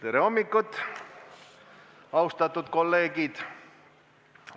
Tere hommikust, austatud kolleegid!